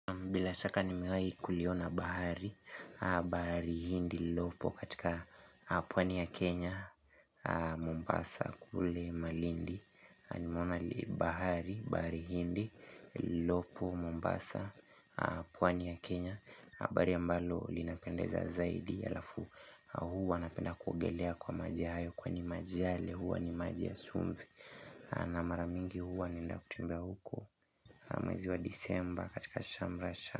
Bila shaka nimewahi kuiona bahari bahari hindi lilopo katika pwani ya Kenya Mombasa kule malindi Nimeona ni bahari bahari hindi Lopo Mombasa pwani ya Kenya bahari ambalo linapendeza zaidi halafu huwa napenda kuogelea kwa maji hayo Kwani maji yale huwa ni maji ya chumvi na mara mingi huwa naenda kutembea huko mwezi wa disemba katika shamrasha.